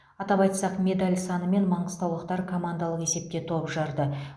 атап айтсақ медаль санымен маңғыстаулықтар командалық есепте топ жарды